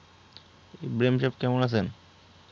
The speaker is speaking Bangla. ইব্রাহীম সাব কেমন আছেন?